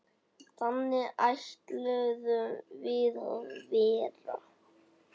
Þannig ætluðum við að verða.